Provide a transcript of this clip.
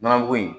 Nɔnɔmugu in